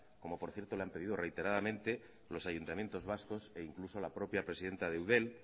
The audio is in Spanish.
como por cierto le han pedido reiteradamente los ayuntamientos vascos e incluso la propia presidenta de eudel